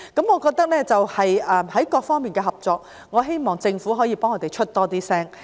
我希望在各方面的合作上，政府可以替我們更常發聲。